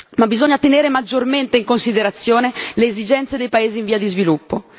ma bisogna tenere maggiormente in considerazione le esigenze dei paesi in via di sviluppo.